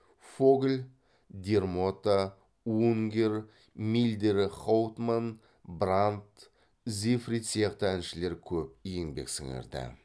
фогль дермота унгер мильдер хауптман брандт зефрид сияқты әншілер көп еңбек сіңірді